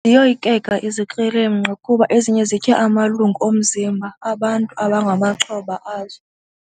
Ziyoyikeka izikrelemnqa kuba ezinye zitya amalungu omzimba abantu abangamaxhoba azo.